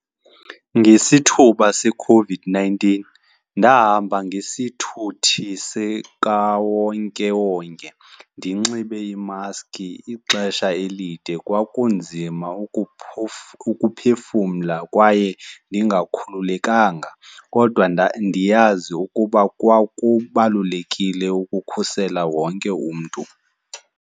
Ngesithuba seCOVID-nineteen, ndahamba ngesithuthi sikawonkewonke ndinxibe imaski ixesha elide. Kwakunzima ukuphefumla kwaye ndingakhululekanga, kodwa ndiyazi ukuba kwakubalulekile ukukhusela wonke umntu.